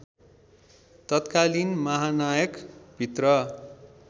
तत्कालिन महानायक भित्र